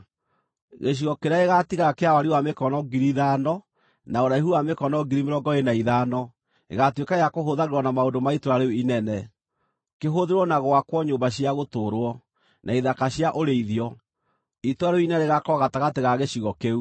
“Gĩcigo kĩrĩa gĩgaatigara kĩa wariĩ wa mĩkono 5,000, na ũraihu wa mĩkono 25,000, gĩgaatuĩka gĩa kũhũthagĩrwo na maũndũ ma itũũra rĩu inene, kĩhũthĩrwo na gwakwo nyũmba cia gũtũũrwo, na ithaka cia ũrĩithio. Itũũra rĩu inene rĩgaakorwo gatagatĩ ga gĩcigo kĩu,